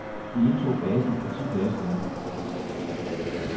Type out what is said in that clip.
Vi indtog basen for ti dage siden.